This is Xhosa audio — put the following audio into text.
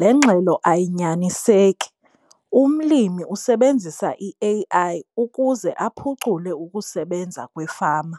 Le ngxelo ayinyaniseki. Umlimi usebenzisa i-A_I ukuze aphucule ukusebenza kwefama